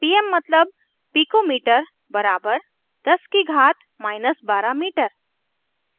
pm मतलब pico metre बराबर 10 की घात12 metre